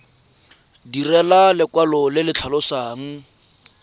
direlwa lekwalo le le tlhalosang